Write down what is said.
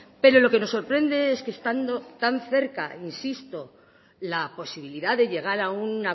pero lo que nos sorprende es que estando tan cerca insisto la posibilidad de llegar a un